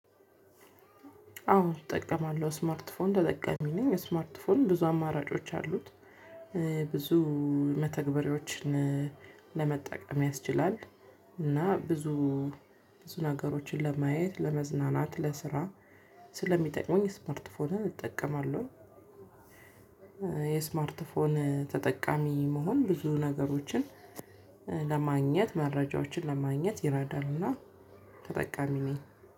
አዎ እጠቀማለሁ ስማርትፎን ተጠቃሚ ነኝ እስማርት ፎን ብዙ አማራጮች አሉት። ብዙ መተግበሪዎችን ለመጠቀም ያስችላል እና ብዙ ብዙ ነገሮችን ለማየት ለመዝናናት ለስራ ስለሚጠቅመኝ ስማርት ፎንን እጠቀማለሁ። የስማርት ፎን ተጠቃሚ መሆን ብዙ ነገሮችን ለማግኘት መረጃዎችን ለማግኘት ይረዳልና ተጠቃሚ ነኝ።